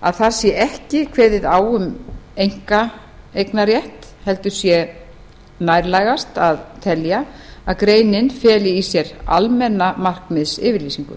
að þar sé ekki kveðið á um einkaeignarrétt heldur sé nærtækast að telja að greinin feli í sér almenna markmiðsyfirlýsingu